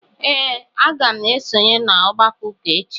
Ee, aga m esonye n'ọgbakọ ụka echi.